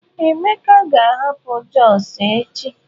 Emeka ga-ahapụ Jos echi.